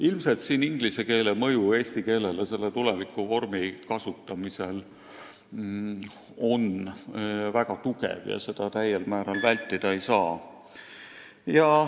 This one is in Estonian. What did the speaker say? Ilmselt on siin inglise keele mõju eesti keelele väga tugev ja seda täiel määral vältida ei saa.